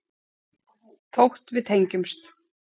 Þótt við tengjumst.